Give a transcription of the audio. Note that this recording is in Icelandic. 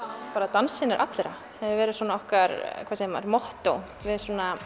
dansinn er allra hefur verið okkar mottó við